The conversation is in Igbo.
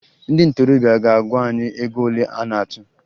Ndị ntorobịa ga-agwa anyị ego ole a na-atụ